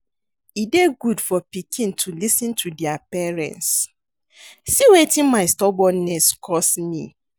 E dey good for pikin to lis ten to their parents, see wetin my stubbornness cause me